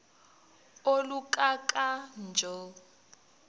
oluka ka njl